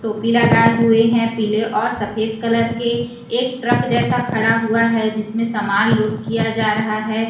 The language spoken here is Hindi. टोपी लगाए हुए हैं पीले और सफेद कलर के एक ट्रक जैसा खड़ा हुआ है जिसमें सामान लोड किया जा रहा है।